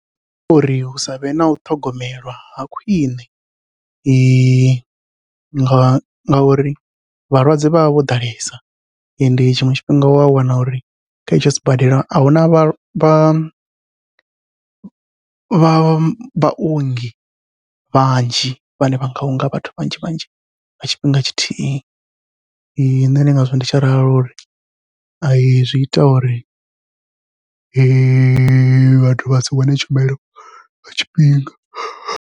Uri hu savhe nau ṱhogomelwa ha khwiṋe, ngauri vhalwadze vha vha vho ḓalesa ende tshiṅwe tshifhinga wa wana uri kha etsho sibadela ahuna vha vha vha vhaongi vhanzhi, vhane vha nga unga vhathu vhanzhi vhanzhi nga tshifhinga tshithihi nṋe ndi ngazwo ndi tshi ralo uri ai zwi ita uri vhathu vha si wane tshumelo nga tshifhinga.